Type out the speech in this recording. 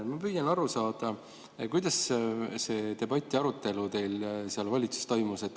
Ma püüan aru saada, kuidas see debatt teil valitsuses toimus.